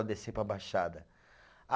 A descer para a Baixada. A